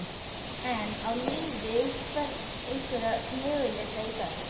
En á liðið einhverja möguleika í dag?